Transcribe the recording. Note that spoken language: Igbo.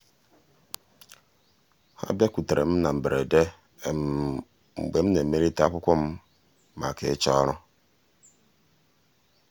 ha bịakwutere m na um mberede mgbe m na-emelite akwụkwọ m um maka ịchọ ọrụ.